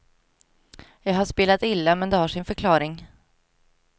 Jag har spelat illa, men det har sin förklaring.